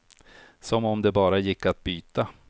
Som om det bara gick att byta.